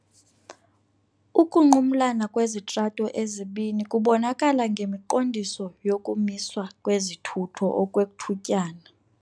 Ukunqumlana kwezitrato ezibini kubonakala ngemiqondiso yokumiswa kwezithutho okwethutyana.